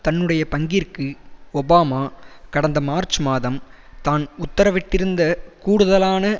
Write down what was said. தன்னுடைய பங்கிற்கு ஒபாமா கடந்த மார்ச் மாதம் தான் உத்தரவிட்டிருந்த கூடுதலான